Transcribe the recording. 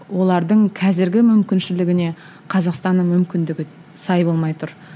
олардың қазіргі мүмкіншілігіне қазақстанның мүмкіндігі сай болмай тұр